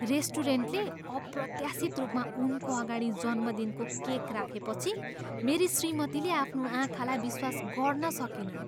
रेस्टुरेन्टले अप्रत्याशित रूपमा उनको अगाडि जन्मदिनको केक राखेपछि मेरी श्रीमतीले आफ्नो आँखालाई विश्वास गर्न सकिनन्।